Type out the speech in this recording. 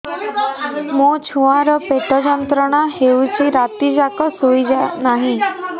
ମୋ ଛୁଆର ପେଟ ଯନ୍ତ୍ରଣା ହେଉଛି ରାତି ଯାକ ଶୋଇନାହିଁ